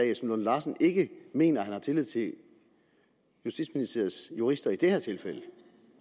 lunde larsen ikke mener at han har tillid til justitsministeriets jurister i det her tilfælde